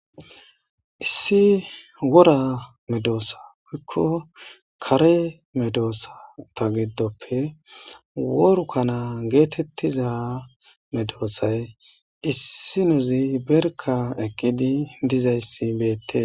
Issi wora medosa woyiko kare medosata gidope worikana getetiza medosay issi nozi berika eqidayis betes